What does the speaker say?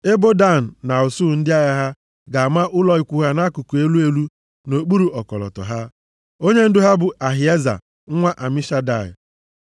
Ebo Dan na usuu ndị agha ha ga-ama ụlọ ikwu ha nʼakụkụ elu elu nʼokpuru ọkọlọtọ ha. Onyendu ha bụ Ahieza nwa Amishadai